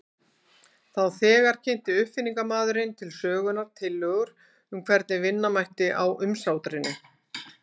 Þá þegar kynnti uppfinningamaðurinn til sögunnar tillögur um hvernig vinna mætti á umsátrinu.